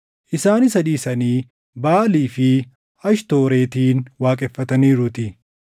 isaan isa dhiisanii Baʼaalii fi Ashtooretin waaqeffataniiruutii.